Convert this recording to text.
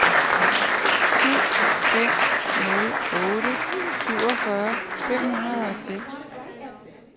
syv fem nul otte syvogfyrre fem hundrede og seks